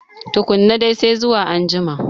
Tukunna dai, sai zuwa a jima.